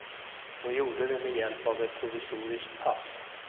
Hon gjorde det med hjälp av ett provisoriskt pass.